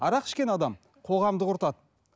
арақ ішкен адам қоғамды құртады